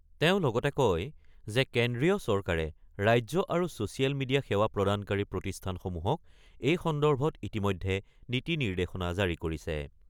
তেওঁ লগতে কয় যে, কেন্দ্ৰীয় চৰকাৰে ৰাজ্য আৰু ছ'ছিয়েল মিডিয়া সেৱা প্ৰদানকাৰী প্ৰতিষ্ঠানসমূহক এই সন্দৰ্ভত ইতিমধ্যে নীতি-নিৰ্দেশনা জাৰি কৰিছে।